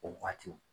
O waati